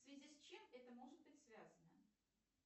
в связи с чем это может быть связано